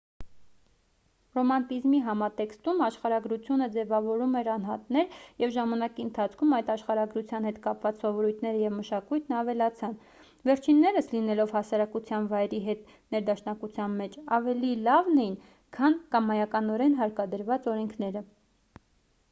ռոմանտիզմի համատեքստում աշխարհագրությունը ձևավորում էր անհատներ և ժամանակի ընթացքում այդ աշխարհագրության հետ կապված սովորույթները և մշակույթն ավելացան վերջիններս լինելով հասարակության վայրի հետ ներդաշնակության մեջ ավելի լավն էին քան կամայականորեն հարկադրված օրենքները